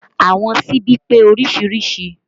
Àwọn síbi pé oríṣiríṣi